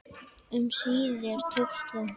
Um síðir tókst þó